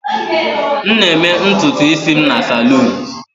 M na-eme ntutu isi m na salon.